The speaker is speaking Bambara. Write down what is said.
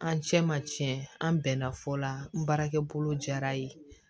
An cɛ ma tiɲɛ an bɛnna fɔ la n baarakɛ bolo jara ye